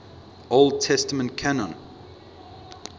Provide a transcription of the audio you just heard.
old testament canon